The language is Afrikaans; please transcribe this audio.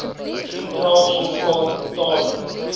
nitraat sulfaat metale